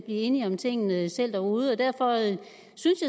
enige om tingene derude derfor